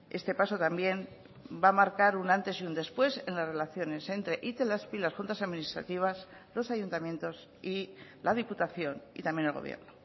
este paso también va a marcar un antes y un después en las relaciones entre itelazpi las juntas administrativas los ayuntamientos y la diputación y también el gobierno